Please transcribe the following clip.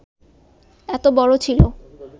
এত বড় ছিল